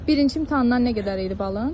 Birinci imtahandan nə qədər idi balın?